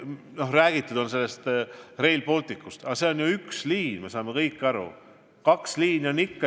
Noh, räägitud on Rail Balticust, aga see on ju vaid üks suund.